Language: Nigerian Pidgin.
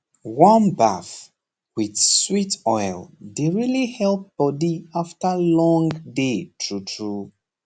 warm baff with sweet oil dey really help body after long day truetrue